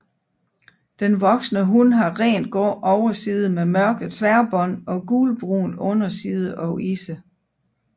Den voksne hun har rent grå overside med mørke tværbånd og gulbrun underside og isse